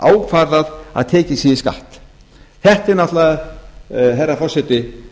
ákvarðað að tekið sé í skatt þetta er náttúrlega herra forseti